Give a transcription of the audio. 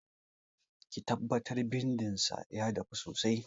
Ki tabbatar bindin san ya dafu sosai!